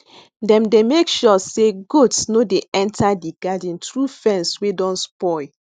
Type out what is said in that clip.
dem dey make sure say say goats no dey enter di garden through fence wey don spoil